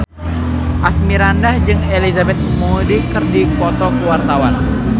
Asmirandah jeung Elizabeth Moody keur dipoto ku wartawan